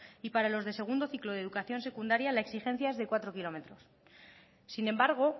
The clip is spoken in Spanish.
y para los de segundo ciclo de educación secundaria la exigencia es de cuatro kilómetros sin embargo